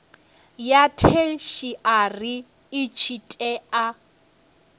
ya theshiari i tshi tea